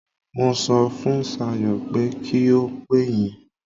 Mo sọ fun Sayo pé kí ó pè yín.